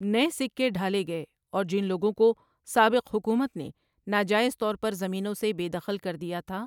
نئے سکے ڈھالے گئے اور جن لوگوں کو سابق حکومت نے ناجائز طور پر زمینوں سے بے دخل کر دیا تھا ۔